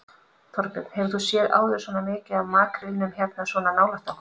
Þorbjörn: Hefur þú séð áður svona mikið af makrílnum hérna svona nálægt okkur?